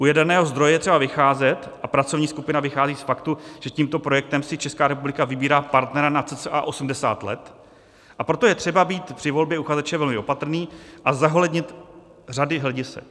U jaderného zdroje je třeba vycházet, a pracovní skupina vychází z faktu, že tímto projektem si Česká republika vybírá partnera na cca 80 let, a proto je třeba být při volbě uchazeče velmi opatrný a zohlednit řady hledisek.